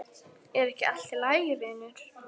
Er ekki allt í lagi vinur?